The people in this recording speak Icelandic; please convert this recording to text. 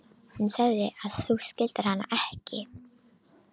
Hún sagði að þú skildir hana ekki.